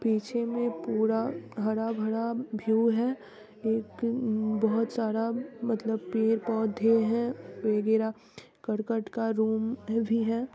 पीछे में पूरा हरा-भरा भ्यू है एक अम बहुत सारा मतलब पेड़-पौधे हैं वगेरा करकट का रूम भी है |